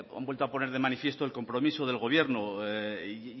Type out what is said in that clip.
han vuelto a poner de manifiesto el compromiso del gobierno y